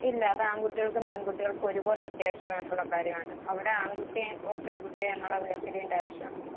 ഇല്ല അത് ആൺകുട്ടികൾക്കും പെൺകുട്ടികൾക്കും ഒരുപോലെ അത്യാവശ്യമായിട്ടൊള്ള കാര്യാണ്. അവടെ ആൺകുട്ടിയോ പെൺകുട്ടിയോ എന്നൊള്ള വേർതിരിവിന്റെ ആവശ്യോന്നുവില്ല.